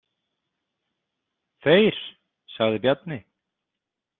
Þeir, sagði Bjarni.